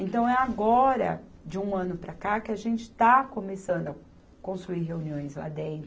Então, é agora, de um ano para cá, que a gente está começando a construir reuniões lá dentro.